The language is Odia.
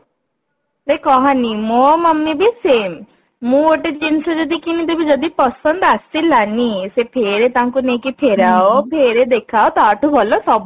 ଏଇ କହନି ମୋ mummy ବି same ମୁଁ ଗୋଟେ ଜିନିଷ ଯଦି କିଣିଦେବି ଯଦି ପସନ୍ଦ ଆସିଲାନି ସେ ଫେରେ ତାଙ୍କୁ ନେଇକି ଫେରାଓ ଫେର ଦେଖା ତା ଠୁ ଭଲ ସବୁ